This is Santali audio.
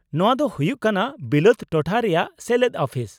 -ᱱᱚᱶᱟ ᱫᱚ ᱦᱩᱭᱩᱜ ᱠᱟᱱᱟ ᱵᱤᱞᱟᱹᱛ ᱴᱚᱴᱷᱟ ᱨᱮᱭᱟᱜ ᱥᱮᱞᱮᱫ ᱚᱯᱷᱤᱥ ᱾